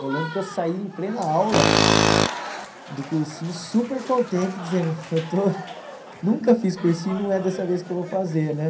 Eu lembro que eu saí em plena aula do cursinho super contente, dizendo eu estou... Nunca fiz cursinho e não é dessa vez que eu vou fazer, né?